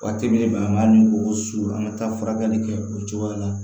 Waati min na an b'a ɲini o su an ka taa furakɛli kɛ o cogoya la